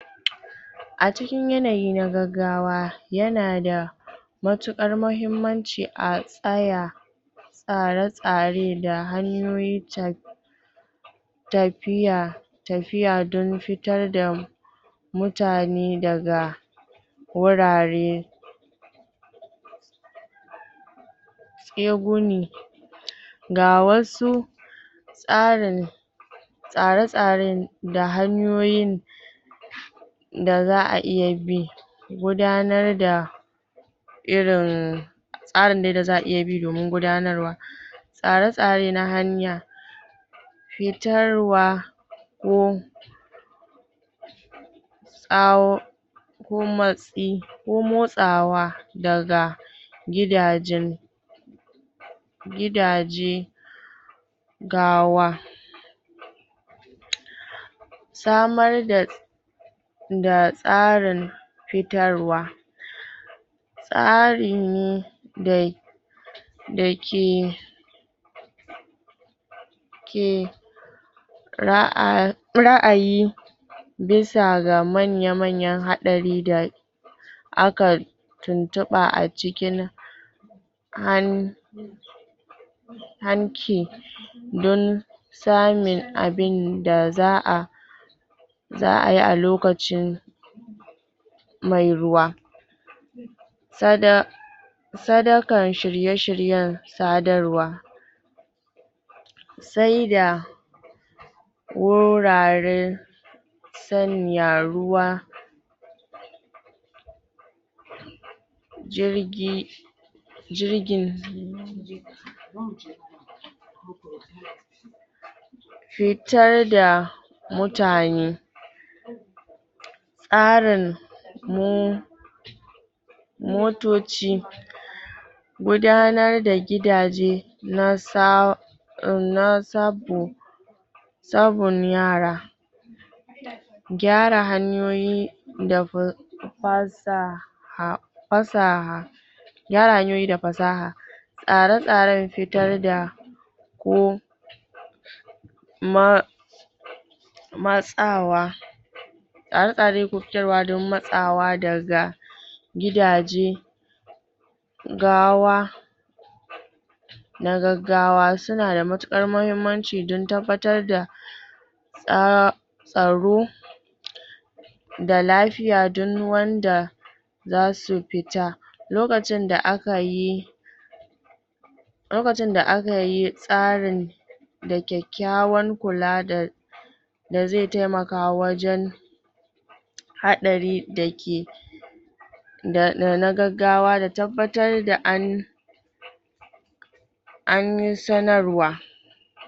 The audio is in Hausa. A cikin yanayi na gaggawa yana da matuƙar mahimmanci a tsaya tsare-tsare da hanyoyin ta tafiya, tafiya dan fitar da mu mutane daga wurare ga wasu tsarin tsare-tsaren da hanyoyi da za'a iya bi gudanar da irin tsari ne da za'a iya bi domin gudanarwa tsare-tsare na hanya fitarwa ko tsau ko motsawa daga gidajen gidaje gawa samar da da tsarin fitarwa tsarin da da ke ke ra'a ra'ayi bisa ga manya-manyan haɗari da a kan tuntuɓa a cikin han hanki dan samun abin da za'a za'a yi a lokacin mai ruwa sada sadakan shirye-shiryen sadarwa sai da wurare sanya ruwa jirgi jirgin fitar da mutane tsarin mu motoci gudanar da gidaje nasa nasabu sabun yara gyara hanyoyi dabur fasa ah, fasa gyara hanyoyi da fasaha tsare-tsaren fitar da um, ma matsawa tsare-tsaren ke fitarwa dan matsawa daga gidaje gawa na gaggawa suna da matuƙar mahimmanci dan tabbatar da ah tsaro da lafiya dan wanda zasu fita lokacin da aka yi lokacin da aka yi tsarin da kyakkyawar kula da da zai taimaka wajen haɗari da ke da na gaggawa da tabbatar da an an yi sanarwa